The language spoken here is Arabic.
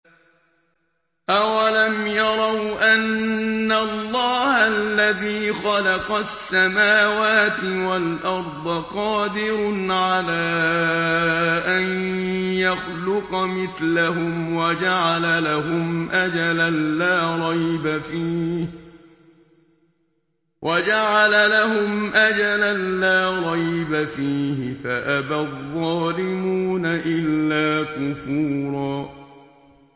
۞ أَوَلَمْ يَرَوْا أَنَّ اللَّهَ الَّذِي خَلَقَ السَّمَاوَاتِ وَالْأَرْضَ قَادِرٌ عَلَىٰ أَن يَخْلُقَ مِثْلَهُمْ وَجَعَلَ لَهُمْ أَجَلًا لَّا رَيْبَ فِيهِ فَأَبَى الظَّالِمُونَ إِلَّا كُفُورًا